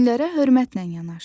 Dinlərə hörmətlə yanaş.